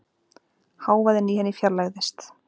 Hávaðinn í henni fjarlægðist.